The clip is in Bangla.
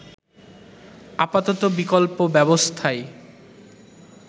আপাতত বিকল্প ব্যবস্থায়